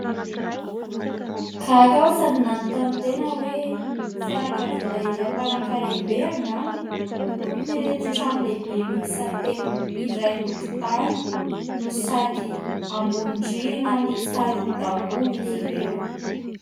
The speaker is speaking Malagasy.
Gaga aho sady nanontany tena hoe fianakaviana iray mpanankarem-be angamba no tompon'ireto trano lehibe miisa telo iray tokontany no sady ambony rihana miisa roa daholo izy ireo.